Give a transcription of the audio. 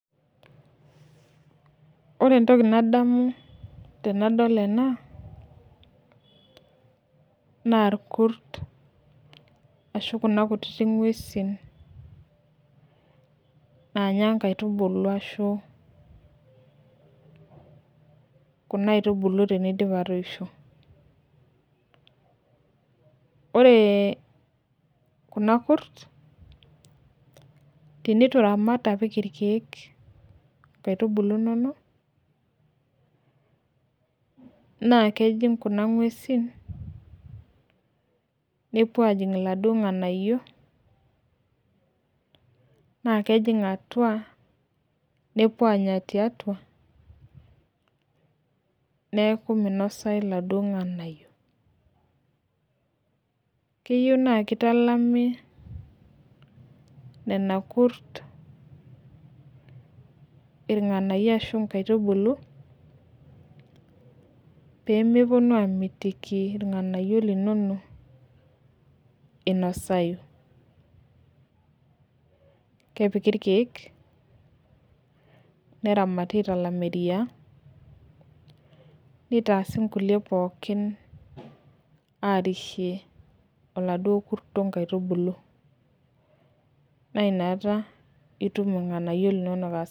Ore entoki nadamu tenadol ena naa irkurt ashu Kuna kutiti nguesin naanyae nkaitubulu ashu, kuna aitubulu tenidip atoisho. ore kuna kurt, teneitu iramat apik irkeek. inkaitubulu inonok. naa kejing' Kuna nguesin nepuo aajing iladuoo nganayio. nas keninga atua nepuo aanya tiatua. neeku minosayu iladuoo ng'anayio. keyieu naa kitalami nena kurt, irnganayio ashu inkaitubulu. pee mepuonu aamitiki ilnganayio linono. inosayu. kepiki irkeek. neramati aitalam eriaa. nitaasi nkulie pookin aasishie, oladuoo kurto nkaitubulu. naa inakata itum irnganayio linono